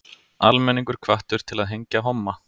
Almenningur hvattur til að hengja homma